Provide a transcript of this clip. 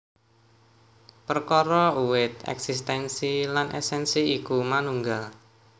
Perkara uwit èksistènsi lan èsènsi iku manunggal